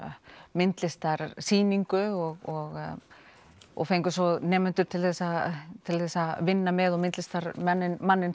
myndlistarsýningu og og fengum svo nemendur til að til að vinna með og myndlistarmanninn